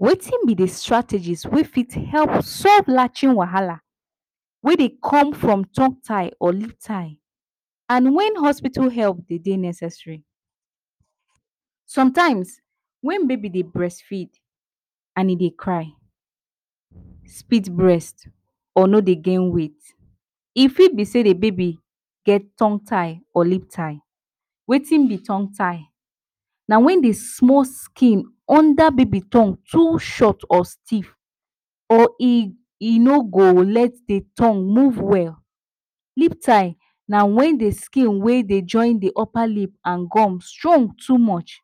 Wetin be de strategies wey fit help solve latching wahala wey dey come from tongue tie or lip tie and when hospital help de dey necessary? Sometimes, when baby dey breastfeed and e de cry, spit breast e fit be say de baby get tongue tie or lip tie. Wetin be tongue tie? Na when de small skin under de baby tongue too, short or stiff or e no go let de tongue move well. Lip tie na wen de skin wey dey join de upper lip strong too much,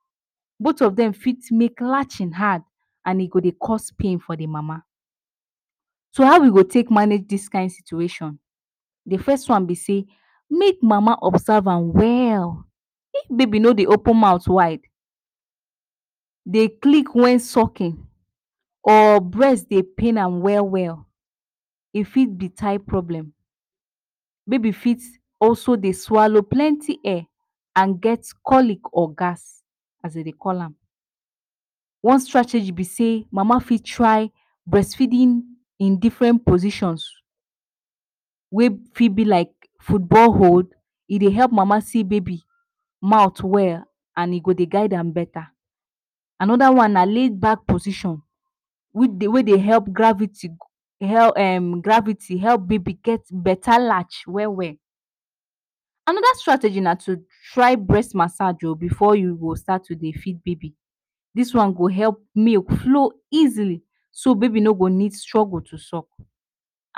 both of dem fit make latching hard and e go dey cause pain for de mama. So how we go take manage this kind situation, de first one be say make de mama observe am well if baby no dey open mouth wide, dey click when sucking or breast dey pain ham well well. E fit be tie problem baby fit also dey swallow plenty air and get colic or gas as we dey call am. One strategy be say mama fit try breastfeeding in different positions wey fit be like football hole, e dey help mama see baby mouth well and e go dey guide am better. Another one na layback position wey dey help gravity and gravity help baby get better latch well well. Another strategy na to try breast massage oo before you go start to de feed baby this one go help milk flow easily so baby no go need struggle to suck.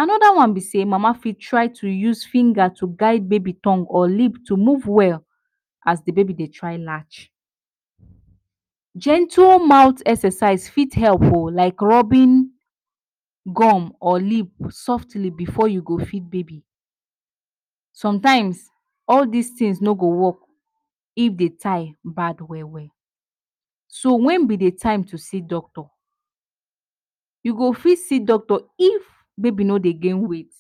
Another one be say, mama fit try to use finger to guide baby tongue or lip to move well as de baby dey try latch. Gentle mouth exercise fit help oo like rubbing gum or lip softly before you go feed baby. Sometimes all this things no go work if de tie bad well well. So, when be de time to see doctor. You go fit see doctor, if baby no dey gain weight.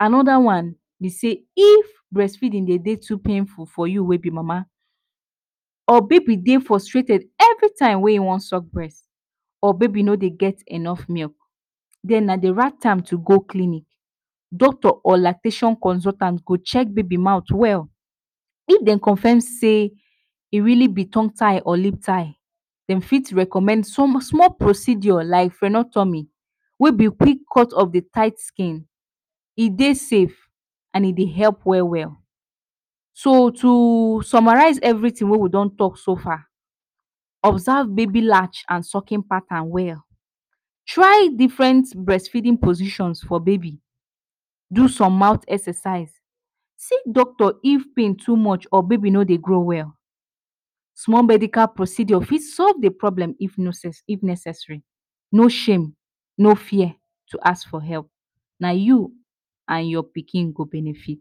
Another one be say is if breastfeeding dey too painful for you wey be de mama, or baby de frustrated every time wey him won suck breast or baby no dey get enough milk, den na de right time to go clinic, den doctor or lactation consultant go check baby mouth well if dem confirm say e really be tongue tie or lip tie dem fit recommend some small procedure like frenotomy wey be quick cut of de tie skin e dey safe and e dey help well well. so to summarize everything wey we don talk so far, observe baby latch and sucking pattern well, try different breastfeeding position for baby, do some mouth exercise, see doctor if pain too much or baby no dey grow well. Small medical procedure fit solve de problem if neces if necessary, no shame, no fear to ask for help na you and your pikin go benefit.